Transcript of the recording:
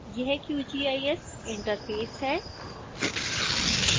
यह qgis interface है